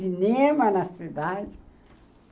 Cinema na cidade.